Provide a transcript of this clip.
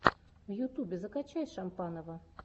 в ютубе закачай шампанова